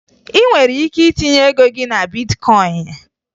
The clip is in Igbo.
Ị nwere ike itinye ego gị na bitkọyịn